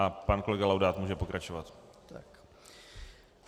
A pan kolega Laudát může pokračovat.